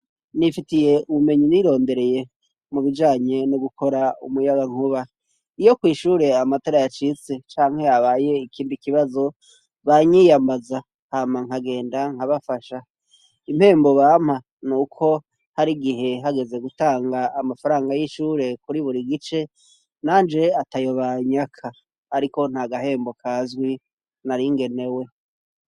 Nifitiye ubumenyi nirondereye mu bijanye no gukora umuyagankuba. Iyo kw'ishure amatara yacitse canke habaye ikindi kibazo, banyiyamaza hama nkagenda nkabafasha. Impembo bampa ni uko hari igihe hageze gutanga amafaranga y'ishure kuri buri gice nanje atayo banyaka, ariko nta gahembo kazwi nari ngenewe.